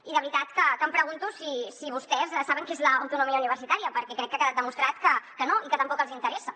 i de veritat em pregunto si vostès saben què és l’autonomia universitària perquè crec que ha quedat demostrat que no i que tampoc els interessa